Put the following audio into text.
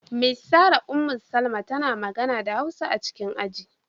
Miss Sarah Ummu-Salama tana magana da Hausa a cikin aji.